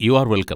U are welcome.